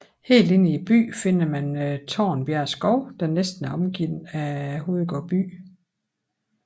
Helt inde i byen finder man Tornbjerg Skov der næsten er omgivet af Hovedgård by